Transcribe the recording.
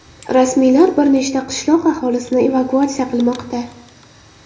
Rasmiylar bir nechta qishloq aholisini evakuatsiya qilmoqda.